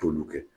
T'olu kɛ